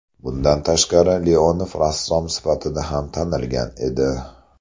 Bundan tashqari, Leonov rassom sifatida ham tanilgan edi.